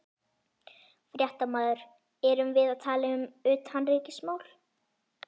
Fréttamaður: Erum við að tala um utanríkismál?